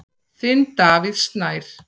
Þinn, Davíð Snær.